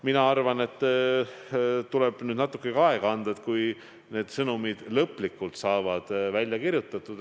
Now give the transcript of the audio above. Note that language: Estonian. Mina arvan, et nüüd tuleb anda natuke aega, kuni need sõnumid saavad lõplikult kirjutatud.